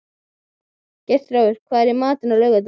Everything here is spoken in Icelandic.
Geirþjófur, hvað er í matinn á laugardaginn?